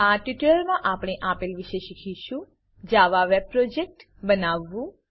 આ ટ્યુટોરીયલમાં આપણે આપેલ વિશે શીખીશું Java web project Java web project બનાવવું